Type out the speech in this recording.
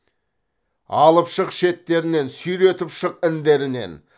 алып шық шеттерінен сүйретіп шық індерінен